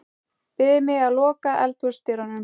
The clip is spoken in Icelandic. Biður mig að loka eldhúsdyrunum.